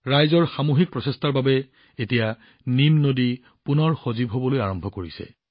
ৰাইজৰ সামূহিক প্ৰচেষ্টাৰ বাবে এতিয়া নিম নদী পুনৰ সজীৱ হবলৈ আৰম্ভ কৰিছে